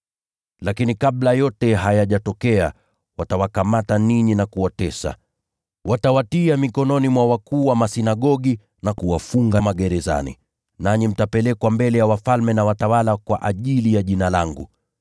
“Lakini kabla yote hayajatokea, watawakamata ninyi na kuwatesa. Watawatia mikononi mwa wakuu wa masinagogi na kuwafunga magerezani. Nanyi mtapelekwa mbele ya wafalme na watawala kwa ajili ya Jina langu.